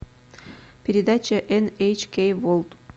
передача эн эйч кей ворлд